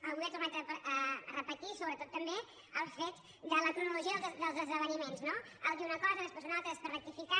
avui ha tornat a repetir sobretot també els fets de la cronologia dels esdeveniments no dir una cosa des·prés una altra després rectificar